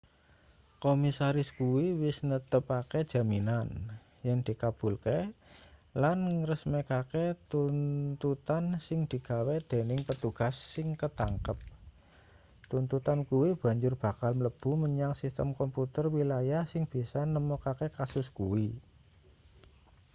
komisaris kuwi wis netepake jaminan yen dikabulke lan ngresmekake tuntutan sing digawe dening petugas sing katangkep tuntutan kuwi banjur bakal mlebu menyang sistem komputer wilayah sing bisa nemokake kasus kuwi